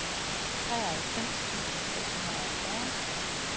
treoghalvfems tusind seks hundrede og fyrre